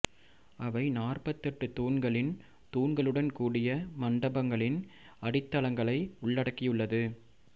அவை நாற்பத்தெட்டு தூண்களின் தூண்களுடன் கூடிய மண்டபங்களின் அடித்தளங்களை உள்ளடக்கியுள்ளது